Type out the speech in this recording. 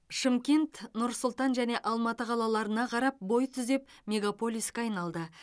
шымкент нұр сұлтан және алматы қалаларына қарап бой түзеп мегаполиске айналды